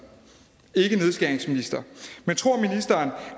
ikke nedskæringsminister